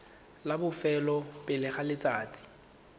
la bofelo pele ga letsatsi